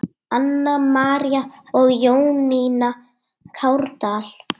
Anna María og Jónína Kárdal.